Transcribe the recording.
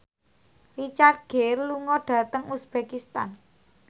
Richard Gere lunga dhateng uzbekistan